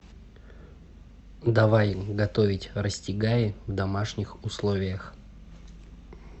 давай готовить расстегаи в домашних условиях